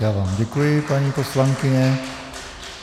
Já vám děkuji, paní poslankyně.